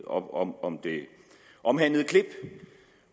om om det omhandlede klip